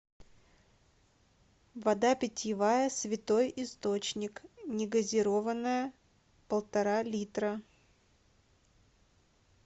вода питьевая святой источник негазированная полтора литра